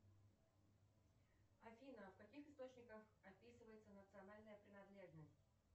афина в каких источниках описывается национальная принадлежность